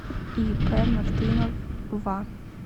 ип мартынов ва